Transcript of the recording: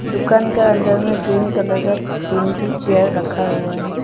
दुकान का अंदर में ग्रीन कलर का तीन थू चेयर रखा हुआ है।